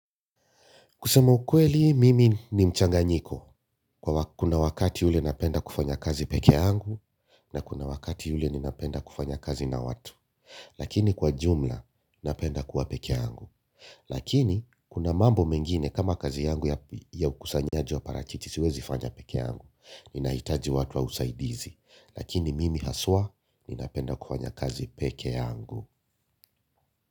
Kusema ukweli mimi ni mchanganyiko. Kuna wakati ule napenda kufanya kazi peke yangu, na kuna wakati ule ninapenda kufanya kazi na watu. Lakini kwa jumla napenda kuwa peke yangu. Lakini, kuna mambo mengine kama kazi yangu ya ukusanyaji wa parachichi siwezi fanya peke yangu. Ninahitaji watu wa usaidizi. Lakini mimi haswa, ninapenda kufanya kazi peke yangu.